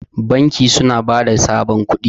banki suna ba da sabon kudi